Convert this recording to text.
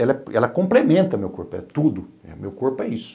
Ela complementa meu corpo, é tudo, meu corpo é isso.